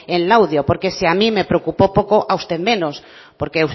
en laudio porque si a mí me preocupó poco a usted menos porque